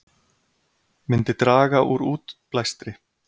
Myndi draga úr útblæstri